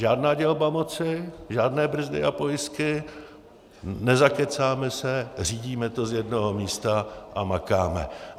Žádná dělba moci, žádné brzdy a pojistky, nezakecáme se, řídíme to z jednoho místa a makáme.